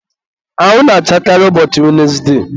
anwụ na-achakarị ụbọchị wenesde.